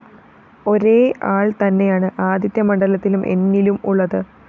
ഒരേ ആള്‍ തന്നെയാണ് ആദിത്യമണ്ഡലത്തിലും എന്നിലും ഉള്ളത്